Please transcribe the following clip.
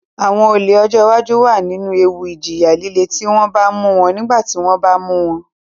Àwọn olè ọjọ́ iwájú wà nínú ewu ìjìyà líle tí wọ́n bá mú wọn nígbà tí wọ́n bá mu won